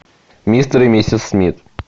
мистер и миссис смит